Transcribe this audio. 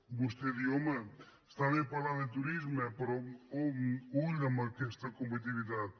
vostè diu home està bé parlar de turisme però ull amb aquesta competitivitat